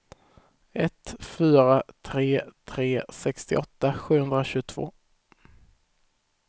ett fyra tre tre sextioåtta sjuhundratjugotvå